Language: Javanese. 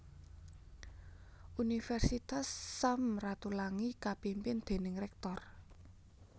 Universitas Sam Ratulangi kapimpin déning Rektor